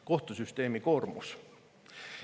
Kohtusüsteemi koormus.